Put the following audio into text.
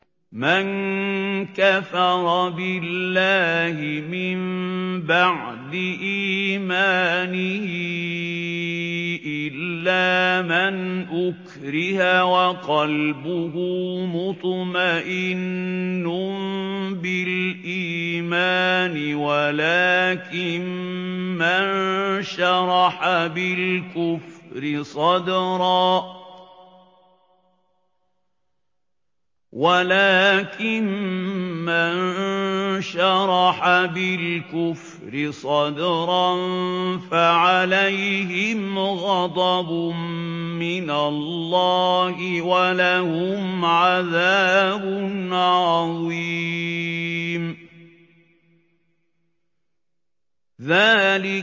مَن كَفَرَ بِاللَّهِ مِن بَعْدِ إِيمَانِهِ إِلَّا مَنْ أُكْرِهَ وَقَلْبُهُ مُطْمَئِنٌّ بِالْإِيمَانِ وَلَٰكِن مَّن شَرَحَ بِالْكُفْرِ صَدْرًا فَعَلَيْهِمْ غَضَبٌ مِّنَ اللَّهِ وَلَهُمْ عَذَابٌ عَظِيمٌ